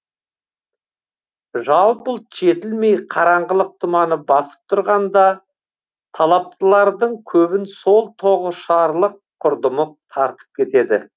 жалпы ұлт жетілмей қараңғылық тұманы басып тұрғанда талаптылардың көбін сол тоғышарлық құрдымы тартып кетеді